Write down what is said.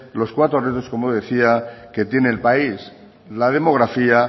los cuatro retos como decía que tiene el país la demografía